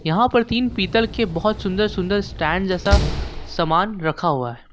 यहां पर तीन पीतल के बहोत सुंदर सुंदर स्टैंड जैसा सामान रखा हुआ है।